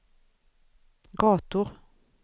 gator